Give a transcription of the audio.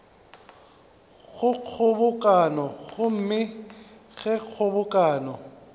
go kgobokano gomme ge kgobokano